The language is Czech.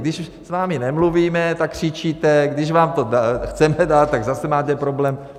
Když s vámi nemluvíme, tak křičíte, když vám to chceme dát, tak zase máte problém.